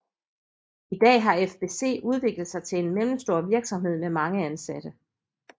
I dag har FBC udviklet sig til en mellemstor virksomhed med mange ansatte